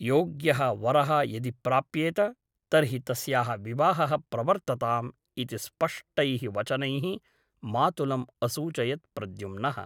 योग्यः वरः यदि प्राप्येत तर्हि तस्याः विवाहः प्रवर्तताम् ' इति स्पष्टैः वचनैः मातुलम् असूचयत् प्रद्युम्नः ।